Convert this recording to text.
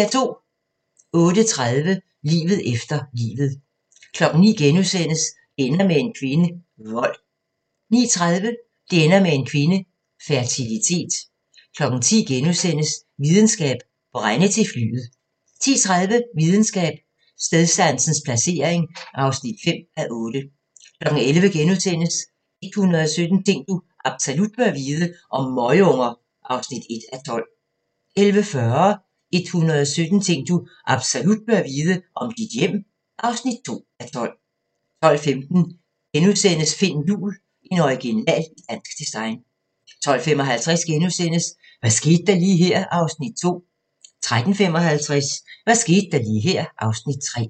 08:30: Livet efter livet 09:00: Det ender med en kvinde – Vold * 09:30: Det ender med en kvinde – Fertilitet 10:00: Videnskab: Brænde til flyet (4:8)* 10:30: Videnskab: Stedsansens placering (5:8) 11:00: 117 ting du absolut bør vide - om møgunger (1:12)* 11:40: 117 ting du absolut bør vide - om dit hjem (2:12) 12:15: Finn Juhl – en original i dansk design * 12:55: Hvad skete der lige her (Afs. 2)* 13:55: Hvad skete der lige her (Afs. 3)